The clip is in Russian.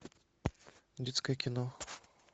детское кино